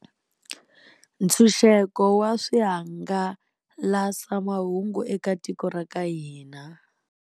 Ntshunxeko wa swihangalasamahungu eka tiko ra ka hina.